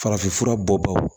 Farafinfura bɔ bagaw